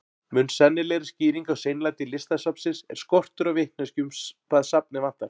Mun sennilegri skýring á seinlæti Listasafnsins er skortur á vitneskju um hvað safnið vantar.